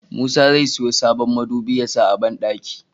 Musa zai siyo sabon midubi yasa a banɗaki